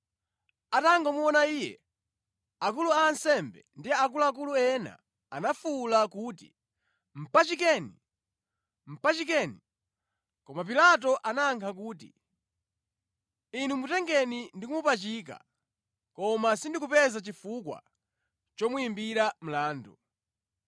Atangomuona Iye akulu a ansembe ndi akuluakulu ena anafuwula kuti, “Mpachikeni! Mpachikeni!” Koma Pilato anayankha kuti, “Inu mutengeni ndi kumupachika. Koma ine sindikupeza chifukwa chomuyimbira mlandu.”